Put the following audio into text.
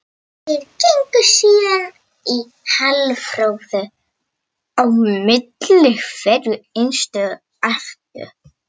Þeir gengu síðan í halarófu á milli hverrar einustu ójöfnu í fjörunni.